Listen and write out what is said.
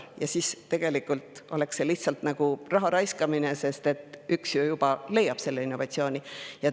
Ja siis tegelikult oleks see lihtsalt raha raiskamine, kui üks selle innovatsiooni juba leiab.